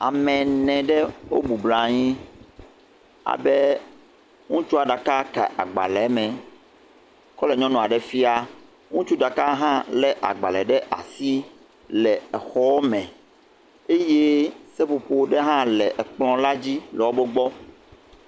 Ame ene ɖe o bubrayi, abe ŋutsua ɖaka ka agbalē me kɔ le nyɔnua ɖe fia, ŋutsu ɖaka hã lé agbalē ɖe asi le exɔ me, eye seƒoƒo ɖe hã le ekplɔ̃ la dzi, le o bo gbɔ.